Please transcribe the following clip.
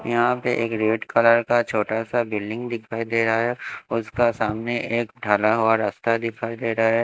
यहां पे एक रेड कलर का छोटा सा बिल्डिंग दिखाई दे रहा है उसका सामने एक ढला हुआ रास्ता दिखाई दे रहा है।